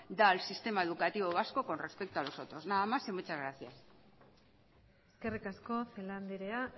da al sistema educativo vasco con respecto a los otros nada más y muchas gracias eskerrik asko celaá andrea